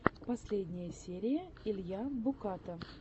последняя серия илья буката